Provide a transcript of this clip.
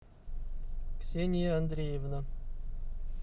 ксения андреевна